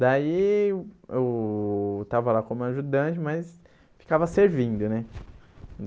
Daí, eu estava lá como ajudante, mas ficava servindo, né?